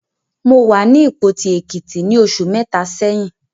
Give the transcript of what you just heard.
Mo wà ní Ìpoti, Èkìtì ní oṣù mẹ́ta sẹ́yìn.